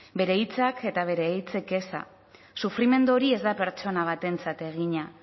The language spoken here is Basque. bere hitzak eta bere hitzik eza sufrimendu hori ez da pertsona batentzat egina